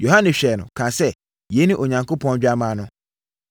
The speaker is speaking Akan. Yohane hwɛɛ no, kaa sɛ, “Yei ne Onyankopɔn Dwammaa no!”